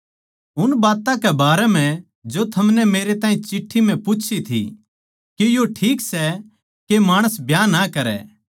उन बात्तां कै बारै म्ह जो थमनै मेरे ताहीं चिट्ठी म्ह पूच्छी थी के यो ठीक सै के माणस ब्याह ना करै